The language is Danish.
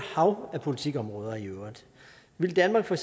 hav af politikområder vil danmark for